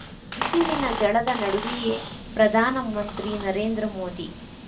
ಬಿಸಿಲಿನ ಝಳದ ನಡುವೆಯೇ ಪ್ರಧಾನ ಮಂತ್ರಿ ನರೇಂದ್ರ ಮೋದಿ